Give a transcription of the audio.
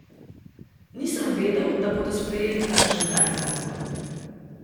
Nisem vedel, da bodo sprejeli kakšen tak zakon.